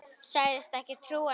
Sagðist ekki trúa mér.